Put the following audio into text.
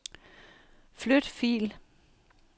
Flyt fil.